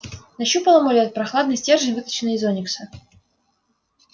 нащупал амулет прохладный стержень выточенный из оникса